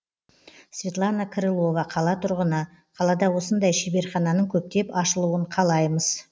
светлана крылова қала тұрғыны қалада осындай шеберхананың көптеп ашылуын қалаймыз